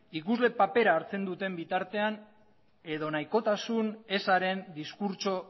ikusle papera hartzen duten bitartean edo nahikotasun ezaren diskurtso